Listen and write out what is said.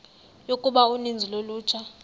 yokuba uninzi lolutsha